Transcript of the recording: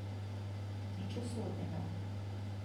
Nič usodnega.